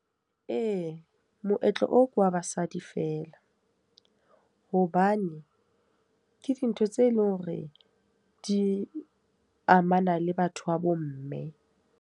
Ee, moetlo oo ke wa basadi feela. Hobane ke dintho tse leng hore di amana le batho ba bo mme.